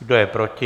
Kdo je proti?